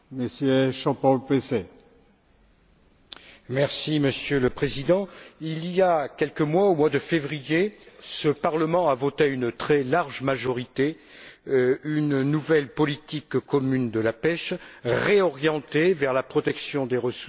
Monsieur le Président, il y a quelques mois, au mois de février, ce Parlement a voté à une très large majorité une nouvelle politique commune de la pêche réorientée vers la protection des ressources et la sélectivité des techniques de pêche.